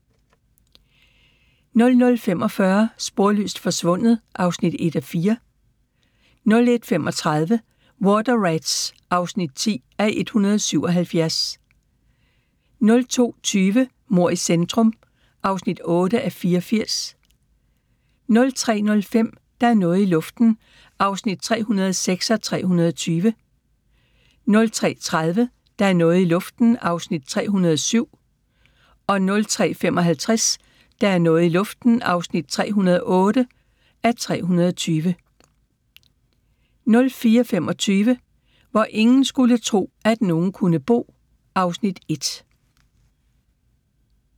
00:45: Sporløst forsvundet (1:4) 01:35: Water Rats (10:177) 02:20: Mord i centrum (8:84) 03:05: Der er noget i luften (306:320) 03:30: Der er noget i luften (307:320) 03:55: Der er noget i luften (308:320) 04:25: Hvor ingen skulle tro, at nogen kunne bo (Afs. 1)